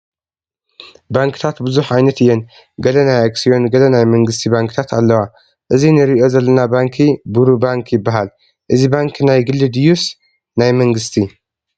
ባንክታት ብዙሕ ዓይነት እየን፡፡ ገለ ናይ ኣክስዮን ገለ ናይ መንግስቲ ባንክታት ኣለዋ፡፡ እዚ ንሪኦ ዘለና ባንኪ ቡሩ ባንክ ይበሃል፡፡ እዚ ባንኪ ናይ ግሊ ድዩስ ናይ መንግስቲ?